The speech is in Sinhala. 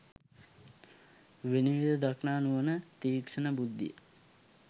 විනිවිද දක්නා නුවණ, තීක්‍ෂණ බුද්ධිය